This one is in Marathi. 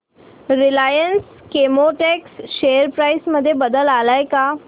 रिलायन्स केमोटेक्स शेअर प्राइस मध्ये बदल आलाय का